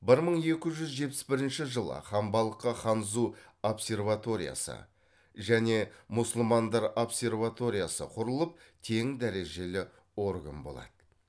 бір мың екі жүз жетпіс бірінші жылы ханбалыққа ханзу обсерваториясы және мұсылмандар обсерваториясы құрылып тең дәрежелі орган болады